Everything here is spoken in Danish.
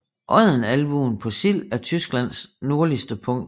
Odden Albuen på Sild er Tysklands nordligste punkt